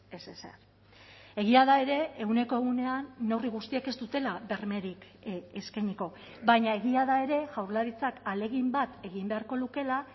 ez ezer egia da ere ehuneko ehunean neurri guztiek ez dutela bermerik eskainiko baina egia da ere jaurlaritzak ahalegin bat egin beharko lukeela